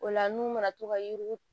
O la n'u mana to ka yuruku